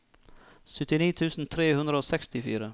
syttini tusen tre hundre og sekstifire